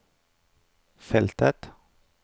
feltet